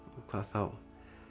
hvað þá